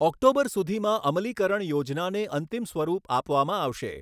October સુધીમાં અમલીકરણ યોજનાને અંતિમ સ્વરૂપ આપવામાં આવશે.